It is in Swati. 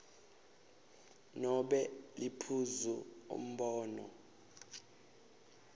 nobe liphuzu umbono